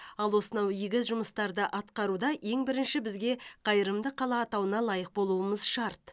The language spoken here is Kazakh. ал осынау игі жұмыстарды атқаруда ең бірінші бізге қайырымды қала атауына лайық болуымыз шарт